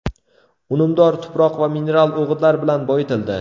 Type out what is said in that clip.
Unumdor tuproq va mineral o‘g‘itlar bilan boyitildi.